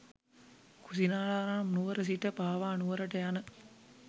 කුසිනාරා නම් නුවර සිට පාවා නුවරට යන